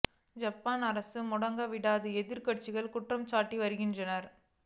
Japan அரசு முடங்கு விட்டதாக எதிர்க்கட்சிகள் குற்றம் சாட்டி வருகின்றன